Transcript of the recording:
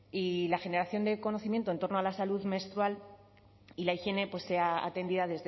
y la generación de conocimiento en torno a la salud menstrual y la higiene sea atendida